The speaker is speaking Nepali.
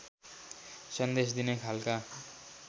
सन्देश दिने खालका